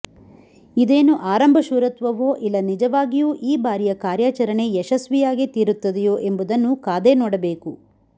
ಇದೇನು ಆರಂಭ ಶೂರತ್ವವೋ ಇಲ್ಲ ನಿಜವಾಗಿಯೂ ಈ ಬಾರಿಯ ಕಾರ್ಯಾಚರಣೆ ಯಶಸ್ವಿಯಾಗೇ ತೀರುತ್ತದೆಯೋ ಎಂಬುದನ್ನು ಕಾದೇ ನೋಡಬೇಕು